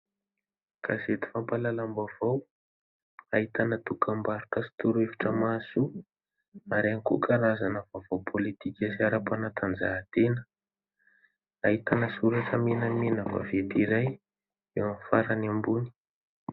Gazety fampahalalam-baovao ahitana dokam-barotra sy torohevitra mahasoa ary ihany koa karazana vaovao pôlitika sy ara-panatanjahantena : ahitana soratra menamena vaventy iray eo amin'ny farany ambony.